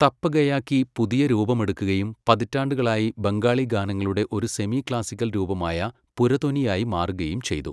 തപ്പ ഗയാക്കി പുതിയ രൂപമെടുക്കുകയും പതിറ്റാണ്ടുകളായി ബംഗാളി ഗാനങ്ങളുടെ ഒരു സെമി ക്ലാസിക്കൽ രൂപമായ പുരതൊനിയായി മാറുകയും ചെയ്തു.